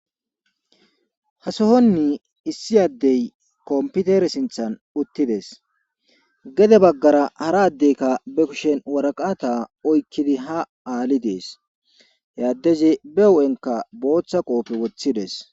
hasohonni issi addey komputer sinthan uttides gede baggara haraddeykka be kushen waraqata oykkidi ha aali dees yaaddeze be u7enka booththa qoofe woththides